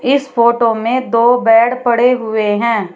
इस फोटो में दो बेड पड़े हुए हैं।